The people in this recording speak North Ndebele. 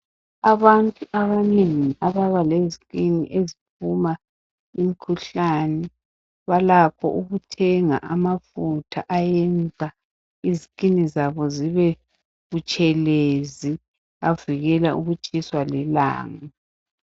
Abantu abanegi ababa lezikini leziphuma umkhuhlane balakho okuthenga amafutha ayenza izikini zabo zibe butshelezi, avikela ukutshiswa lilanga.